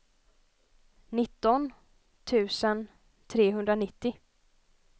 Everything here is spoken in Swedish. nitton tusen trehundranittio